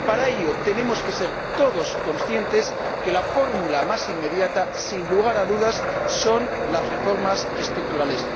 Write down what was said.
Y para ello tenemos que ser todos conscientes de que la fórmula más inmediata, sin lugar a dudas, son las reformas estructurales.